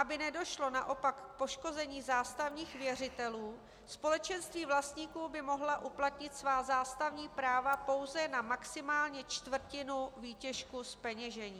Aby nedošlo naopak k poškození zástavních věřitelů, společenství vlastníků by mohla uplatnit svá zástavní práva pouze na maximálně čtvrtinu výtěžku zpeněžení.